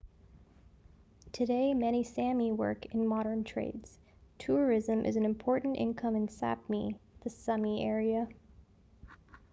today many sámi work in modern trades. tourism is an important income in sápmi the sámi area